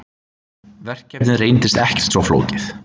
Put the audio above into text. Verkefnið reyndist ekkert svo flókið.